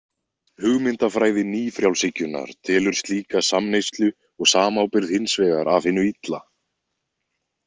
Hugmyndafræði nýfrjálshyggjunnar telur slíka samneyslu og samábyrgð hins vegar af hinu illa.